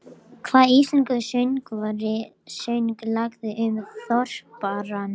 Það er erfitt að útskýra Heilagan anda og skilning kristninnar á honum.